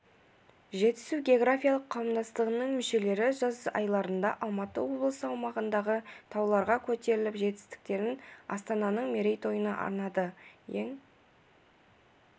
жетісу географиялық қауымдастығының мүшелері жаз айларында алматы облысы аумағындағы тауларға көтеріліп жетістіктерін астананың мерейтойына арнады ең